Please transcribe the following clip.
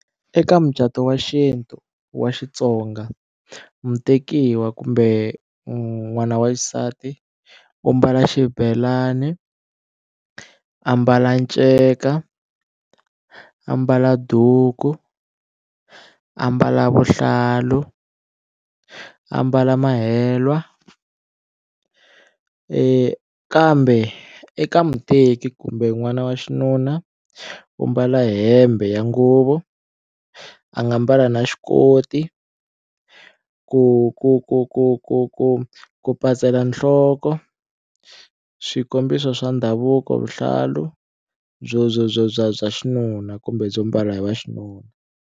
Eka mucato wa xintu wa Xitsonga mutekiwa kumbe n'wana wa xisati u mbala xibelani, a mbala nceka a mbala duku a mbala vuhlalu, a mbala mahelwa kambe eka muteki kumbe n'wana wa xinuna u mbala hembe ya nguvu a nga mbala na xikoti ku ku ku ku ku ku ku pasela nhloko swikombiso swa ndhavuko vuhlalu byo byo byo bya bya xinuna kumbe byo mbala hi wa xinuna.